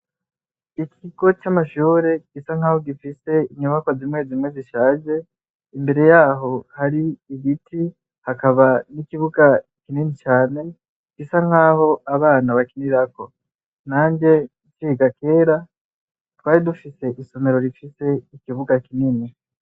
Ikigo c'amashure gisa nk'aho gifise inyubakwa zimwe zimwe zishaje, imbere yaho hari ibiti, hakaba n'ikibuga kinini cane bisa nk'aho abana bakinirako. Nanje nciga kera, twari dufise isomero rifise ikibuga kinini.